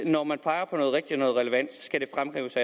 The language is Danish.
og når man peger på noget rigtigt og noget relevant skal det fremhæves